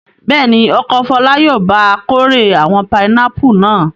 Bẹ́ẹ̀ ni, ọkọ Fọlá yóò ba kórè àwọn pinápù náà.